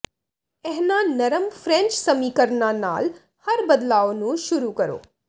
ਇਹਨਾਂ ਨਰਮ ਫ੍ਰੈਂਚ ਸਮੀਕਰਨਾਂ ਨਾਲ ਹਰ ਬਦਲਾਓ ਨੂੰ ਸ਼ੁਰੂ ਕਰੋ